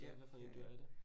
Ja, ja ja